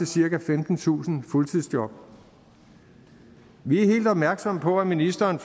cirka femtentusind fuldtidsjob vi helt opmærksomme på at ministeren